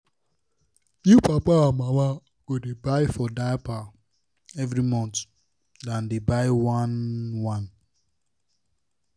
new papa and mama go dey buy for diaper every month than dey buy one-one